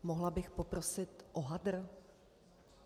Mohla bych poprosit o hadr?